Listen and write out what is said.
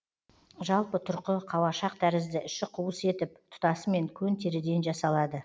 жалпы тұрқы қауашақ тәрізді іші қуыс етіп тұтасымен көн теріден жасалады